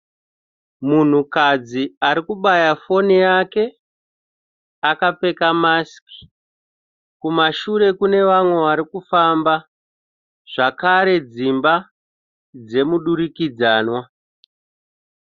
Munhukadzi ari kubaya foni yakapfeka masiki. Kumashure kune vanhu vari kufamba zvakare dzimba dzemudurikidzanwa.